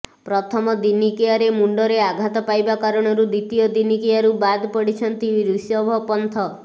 ପ୍ରଥମ ଦିନିକିଆରେ ମୁଣ୍ଡରେ ଆଘାତ ପାଇବା କାରଣରୁ ଦ୍ୱିତୀୟ ଦିନିକିଆରୁ ବାଦ ପଡିଛନ୍ତି ରିଷଭ ପନ୍ଥ